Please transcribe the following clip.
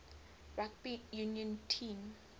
rugby union team